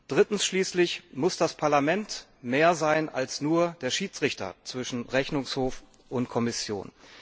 Drittens schließlich muss das Parlament mehr sein als nur der Schiedsrichter zwischen Rechnungshof und Kommission.